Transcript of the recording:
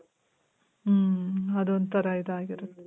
ಮ್ಮ್. ಅದೊಂಥರ ಇದಾಗಿರುತ್ತೆ.